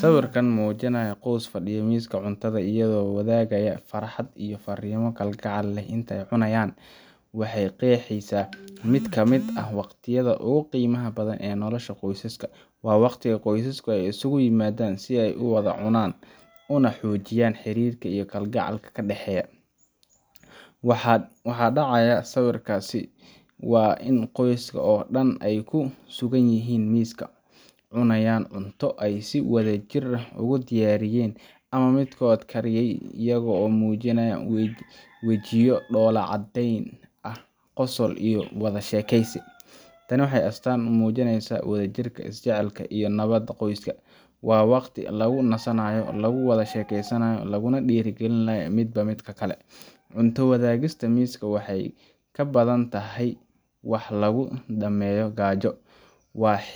Sawirkan mujinaya qos fadiyo miska cunraada iyada oo walagaya farxaad iyo farimo kal gacel leh intee cunayan waxee qeexesa miid kamiid ah waqtiyaada ogu qimaada badan ee nolasha qosaska, waxaa dacaya sawirkasi in qoska dan ee kusugan yihin miska ee cunayan cunto, tani waxee astan umujineysa wax lagu dameyo gajo,